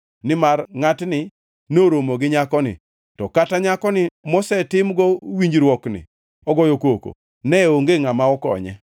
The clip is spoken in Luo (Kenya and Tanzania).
nimar ngʼatni noromo gi nyakoni to kata nyako mosetimgo winjruokni ogoyo koko, ne onge ngʼama okonye.